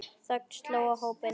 Þögn sló á hópinn.